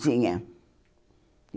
Tinha.